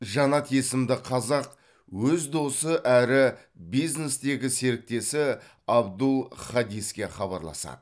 жанат есімді қазақ өз досы әрі бизнестегі серіктесі абдул хадиске хабарласады